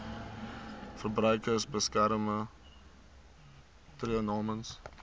verbruikersbeskermer tree namens